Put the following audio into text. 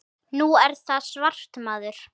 Nú er það svart, maður.